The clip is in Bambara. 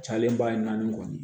Cayalen ba ye naani kɔni